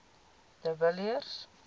de villiers